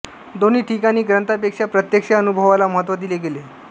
दोन्ही ठिकाणी ग्रंथापेक्षा प्रत्यक्ष अनुभवाला महत्त्व दिले गेले